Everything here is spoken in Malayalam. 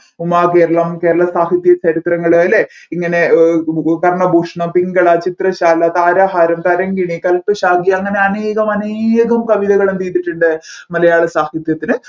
ഉമാകേരളം കേരളം സാഹിത്യ ചരിത്രങ്ങൾ അല്ലെ ഇങ്ങനെ അഹ് കർണഭൂഷണം പിൻഗള ചിത്രശാല താരഹാരം തരംഗിണി കല്പഷാങ്കി അങ്ങനെ അനേകം അനേകം കവിതകൾ എന്ത് ചെയ്തിട്ടുണ്ട് മലയാള സാഹിത്യത്തിന്